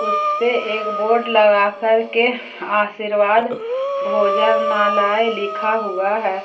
उसपे एक बोर्ड लगा करके आशीर्वाद भोजनालाय लिखा हुआ है।